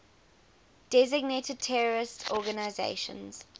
designated terrorist organizations